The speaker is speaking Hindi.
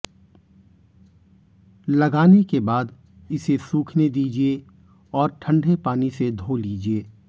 लगाने के बाद इसे सूखने दीजिये और ठंडे पानी से धो लीजिये